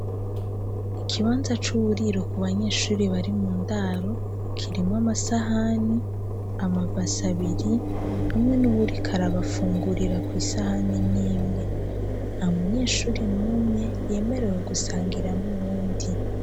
Ikibanza c'uwuriro ku banyeshuri bari mu ndaro kirimo amasahani amabasabiri hamwe n'uwurikarabafungurira kw'isahani n'imwe ha munyeshuri n'umwe yemerewe gusangira n'uwundi.